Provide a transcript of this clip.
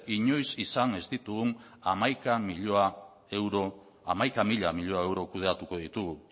inoiz izan ez ditugun hamaika mila milioi euro kudeatuko ditugu